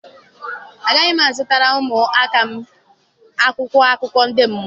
Agaghị m azụtara ụmụ áká m akwụkwọ akụkọ ndị mmụọ.